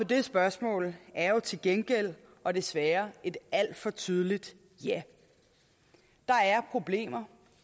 det spørgsmål er jo til gengæld og desværre et alt for tydeligt ja der er problemer